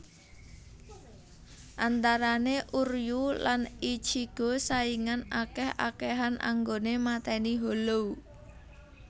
Antarane Uryuu lan Ichigo saingan akeh akehan anggoné matèni hollow